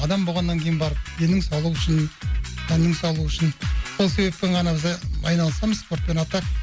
адам болғаннан кейін барып денің саулығы үшін тәннің саулығы үшін сол себеппен ғана айналысамыз спортпен а так